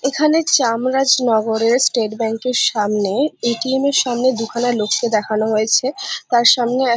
এখানে চামড়াজ নগরে স্টেট্ ব্যাঙ্ক এর সামনে এ.টি.এম এর সামনে দুখানা লোককে দেখানো হয়েছে তার সামনে--